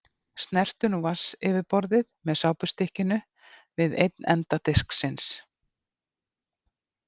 Snertu nú vatnsyfirborðið með sápustykkinu við einn enda disksins.